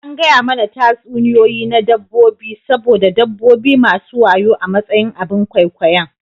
An gaya mana tatsuniyoyi na dabbobi saboda dabbobi masu wayo a matsayin abin ƙwaikwayon.